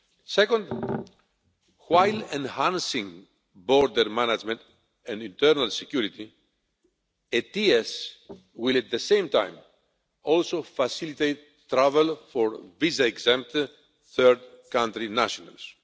Second, while enhancing border management and internal security, ETIAS will at the same time also facilitate travel for visa exempt third country nationals.